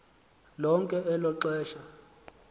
lonke elo xesha